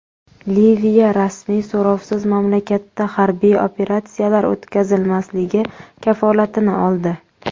Liviya rasmiy so‘rovsiz mamlakatda harbiy operatsiyalar o‘tkazilmasligi kafolatini oldi.